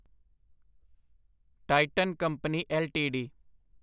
Titan company LTD